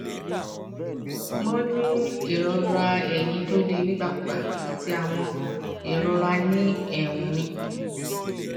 mo ń ní ìrora eyín tó le nígbàkúùgbà àti àwọn ìrora ní eérún mi